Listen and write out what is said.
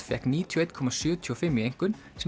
fékk níutíu og eitt komma sjötíu og fimm í einkunn sem